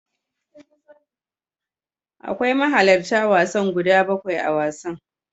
Akwai mahalarta wasan guda bakwai a wasan.